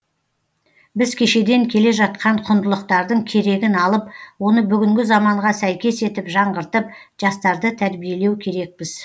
біз кешеден келе жатқан құндылықтардың керегін алып оны бүгінгі заманға сәйкес етіп жаңғыртып жастарды тәрбиелеу керекпіз